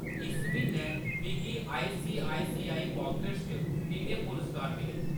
इस म्हीनै मिगी आईसीआईसीआई पॉकेट्स च किन्ने पुरस्कार मिले ?